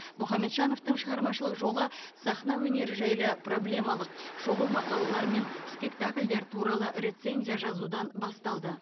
мұхамеджановтың шығармашылық жолы сахна өнері жайлы проблемалық шолу мақалалар мен спектакльдер туралы рецензия жазудан басталды